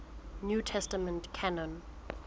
new testament canon